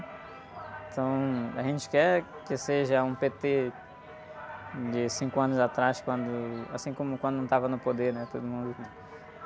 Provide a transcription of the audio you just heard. Então, a gente quer que seja um pê-tê de cinco anos atrás, quando... Assim como quando não estava no poder, né? Todo mundo...